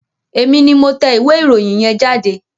Èmi ni mo tẹ ìwé ìròyìn yẹn jáde.